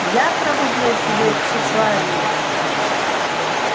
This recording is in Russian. я пробудил в тебе тщеславие